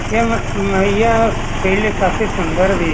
यह यह माहिया फील्ड काफी सुन्दर भी है।